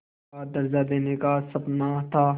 का दर्ज़ा देने का सपना था